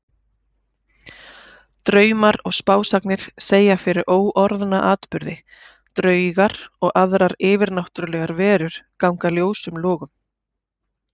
Draumar og spásagnir segja fyrir óorðna atburði, draugar og aðrar yfirnáttúrlegar verur ganga ljósum logum.